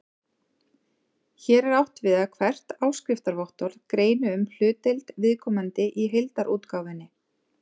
Hér er átt við að hvert áskriftarvottorð greini um hlutdeild viðkomandi í heildarútgáfunni.